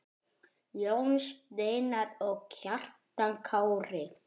Jón Steinar og Kjartan Kári.